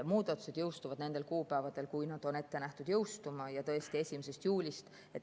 Muudatused jõustuvad nendel kuupäevadel, kui nad on ette nähtud jõustuma ja tõesti, 1. juulist.